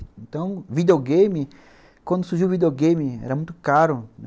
Então, videogame, quando surgiu o videogame, era muito caro.